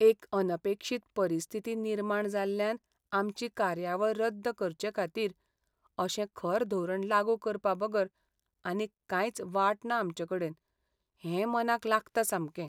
एक अनपेक्षीत परिस्थिती निर्माण जाल्ल्यान आमची कार्यावळ रद्द करचेखातीर अशें खर धोरण लागू करपा बगर आनीक कांयच वाट ना आमचेकडेन, हें मनाक लागता सामकें.